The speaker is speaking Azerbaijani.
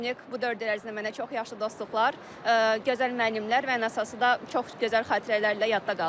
YUNEK bu dörd il ərzində mənə çox yaxşı dostluqlar, gözəl müəllimlər və ən əsası da çox gözəl xatirələrlə yadda qaldıq.